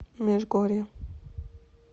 межгорье